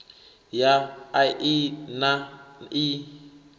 ya a i na ii